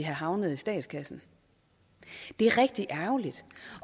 havnet i statskassen det er rigtig ærgerligt